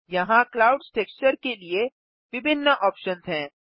यहाँ clouds texture के लिए विभिन्न ऑप्शन्स हैं